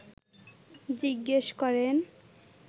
জিজ্ঞেস করেন